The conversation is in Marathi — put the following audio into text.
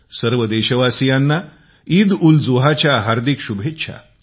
सर्व देशवासीयांना ईदउलजुहाच्या हार्दिक शुभेच्छा